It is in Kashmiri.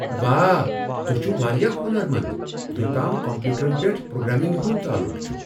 واہ، تُہۍ چھِو وارِیاہ ہونرمند یوتام كمپیوٗٹرن پیٹھ پروگرامِنگ ہُند تعلُق چھُ ۔